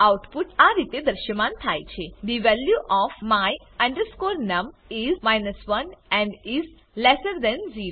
output આ રીતે દ્રશ્યમાન થાય છે the value of my num is 1 and is lesser than 0